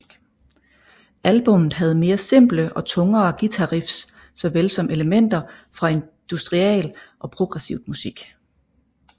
Albummet havde mere simple og tungere guitariffs såvel som elementer fra industrial og progressivt musik